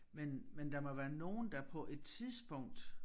Men men der må være nogen der på et tidspunkt